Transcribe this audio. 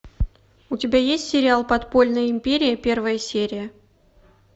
у тебя есть сериал подпольная империя первая серия